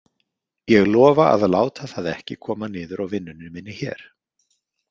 Ég lofa að láta það ekki koma niður á vinnunni minni hér.